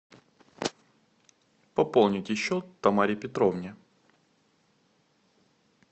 пополните счет тамаре петровне